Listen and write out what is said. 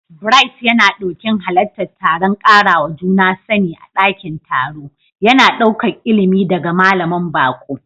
Bright yana ɗokin halartar taron karawa juna sani a ɗakin taro, yana ɗaukar ilimi daga malamin baƙo.